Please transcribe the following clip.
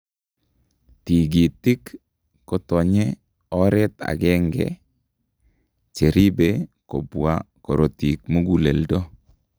Tigitik kotonye oret agenge cheribe kobwaa korotik muguleldo